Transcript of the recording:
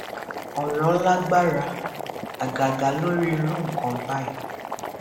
ọrọ lágbára àgàgà lórí irú nǹkan báyìí